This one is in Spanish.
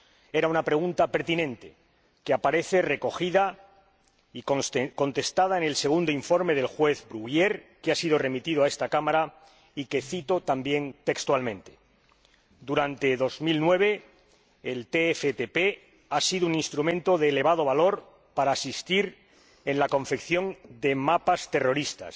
Era una pregunta pertinente que aparece recogida y contestada en el segundo informe del juez Bruguière, que ha sido remitido a esta Cámara y que cito también textualmente durante 2009 el TFTP ha sido un instrumento de elevado valor para asistir en la confección de mapas terroristas,